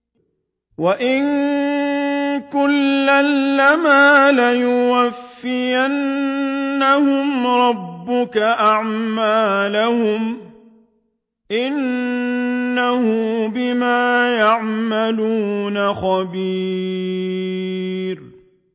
وَإِنَّ كُلًّا لَّمَّا لَيُوَفِّيَنَّهُمْ رَبُّكَ أَعْمَالَهُمْ ۚ إِنَّهُ بِمَا يَعْمَلُونَ خَبِيرٌ